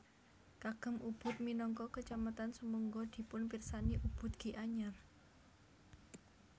Kagem Ubud minangka kecamatan sumangga dipunpirsani Ubud Gianyar